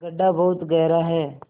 गढ्ढा बहुत गहरा है